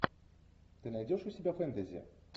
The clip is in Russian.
ты найдешь у себя фэнтези